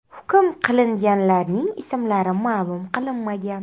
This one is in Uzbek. Hukm qilinganlarning ismlari ma’lum qilinmagan.